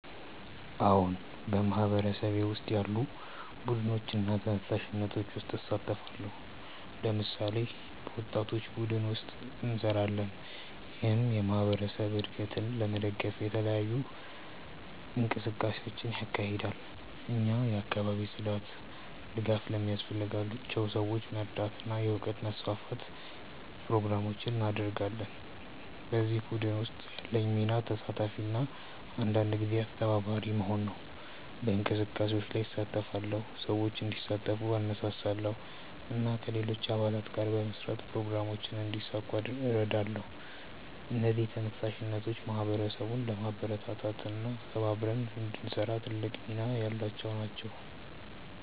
አዎን፣ በማህበረሰቤ ውስጥ ያሉ ቡድኖችና ተነሳሽነቶች ውስጥ እሳተፋለሁ። ለምሳሌ፣ በወጣቶች ቡድን ውስጥ እንሰራለን፣ ይህም የማህበረሰብ እድገትን ለመደገፍ የተለያዩ እንቅስቃሴዎችን ያካሂዳል። እኛ የአካባቢ ጽዳት፣ ድጋፍ ለሚያስፈልጋቸው ሰዎች መርዳት እና የእውቀት ማስፋፋት ፕሮግራሞችን እናደርጋለን። በዚህ ቡድን ውስጥ ያለኝ ሚና ተሳታፊ እና አንዳንድ ጊዜ አስተባባሪ መሆን ነው። በእንቅስቃሴዎች ላይ እሳተፋለሁ፣ ሰዎችን እንዲሳተፉ እነሳሳለሁ እና ከሌሎች አባላት ጋር በመስራት ፕሮግራሞችን እንዲሳካ እረዳለሁ። እነዚህ ተነሳሽነቶች ማህበረሰቡን ለማበረታታት እና ተባብረን እንድንሰራ ትልቅ ሚና ያላቸው ናቸው።